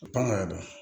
N ka ya